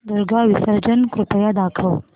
दुर्गा विसर्जन कृपया दाखव